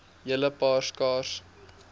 hele paar skaars